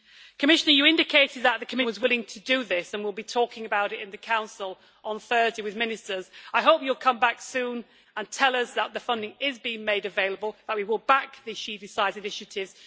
Commissioner, you indicated that the Commission was willing to do this and will be talking about it in the Council on Thursday with Ministers. I hope you will come back soon and tell us that the funding is being made available and that we will back the She Decides' initiative.